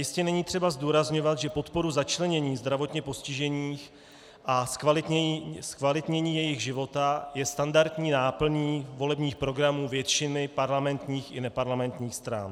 Jistě není třeba zdůrazňovat, že podpora začlenění zdravotně postižených a zkvalitnění jejich života je standardní náplní volebních programů většiny parlamentních i neparlamentních stran.